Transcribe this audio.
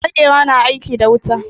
Maƙera na aiki da wuta.